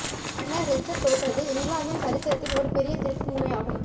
மன்னர் ரிச்சர்ட் தோற்றது இங்கிலாந்தின் சரித்திரத்தில் ஒரு பெரிய திருப்பு முனை ஆகும்